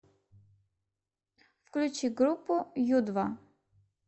включи группу ю два